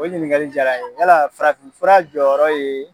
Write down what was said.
O ɲininkali jaara n ye wala farafinfura jɔyɔrɔ ye